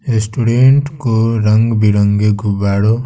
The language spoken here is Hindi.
स्टूडेंट को रंग बिरंगे गुबाड़ों --